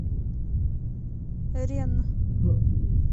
ренн